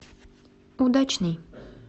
удачный